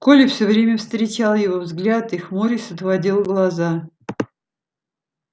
коля всё время встречал его взгляд и хмурясь отводил глаза